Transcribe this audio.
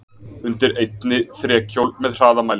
Undir einni þrekhjól með hraðamæli.